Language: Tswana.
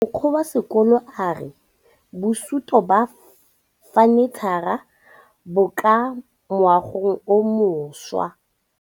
Mogokgo wa sekolo a re bosutô ba fanitšhara bo kwa moagong o mošwa.